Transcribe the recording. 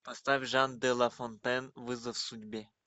поставь жан де лафонтен вызов судьбе